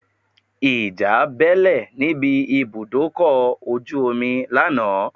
Ìjà bẹ́ẹ́lẹ̀ níbi ibùdókọ̀ ojú omi lánàá